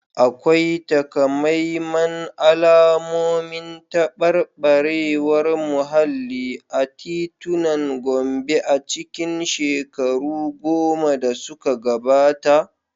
Akwai takamaiman alamomin tabarbarewar muhalli a titunan Gombe a cikin shekaru goma da suka gabata?